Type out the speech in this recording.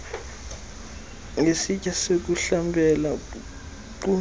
ngesitya sokuhlambela nkqu